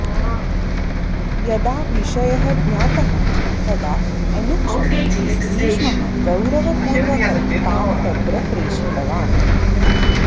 यदा विषयः ज्ञातः तदा अनुक्षणं भीष्मः गौरवपूर्वकं तां तत्र प्रेषितवान्